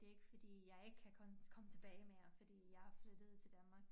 Det ikke fordi jeg ikke kan komme komme tilbage mere fordi jeg er flyttet til Danmark